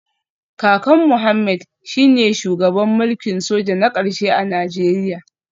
Kakan Mohammed shine shugaban mulkin soja na karshe a Najeriya